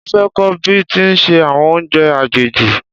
Mo fé kọ́ bí a ti ń se àwọn oúnjẹ àjèjì